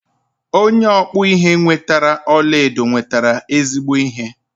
Onye ọkpụ ihe nwetere ọlaedo nwetere ezigbo ihe.